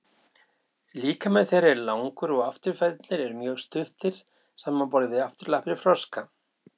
líkami þeirra er langur og afturfæturnir eru mjög stuttir samanborið við afturlappir froska